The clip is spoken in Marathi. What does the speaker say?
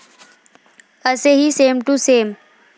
असेही 'सेम टू सेम'